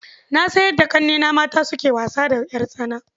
Na san yadda ƙannena mata suke wasa da ƴartsana.